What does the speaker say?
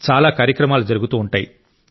చాలా కార్యక్రమాలు జరుగుతూ ఉంటాయి